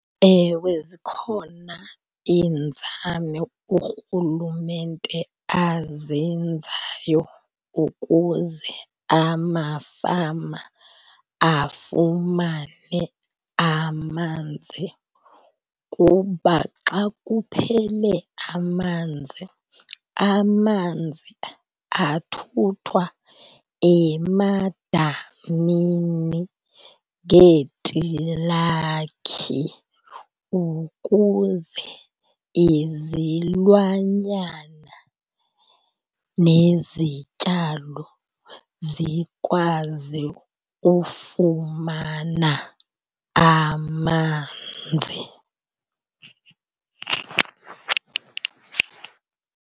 Ewe, zikhona iinzame uRhulumente azenzayo ukuze amafama afumane amanzi kuba xa kuphele amanzi, amanzi athuthwa emadamini ngeetilakhi ukuze izilwanyana nezityalo zikwazi ufumana amanzi.